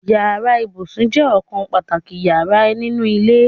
Yàrá ibùsùn je okan pàtàkì yara ninu ile